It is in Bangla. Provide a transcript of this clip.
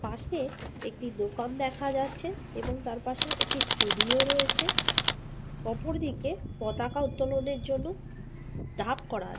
পাশে একটি দোকান দেখা যাচ্ছে এবং তারপাশে একটি ষ্টুডিও রয়েছে ওপর দিকে পতাকা উত্তোলনের জন্য ধাপ করা --